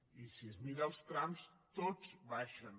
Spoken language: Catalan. i si es miren els trams tots baixen